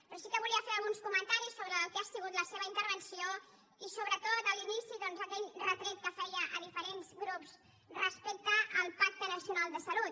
però sí que volia fer alguns comentaris sobre el que ha sigut la seva intervenció i sobretot a l’inici aquell retret que feia a diferents grups respecte al pacte nacional de salut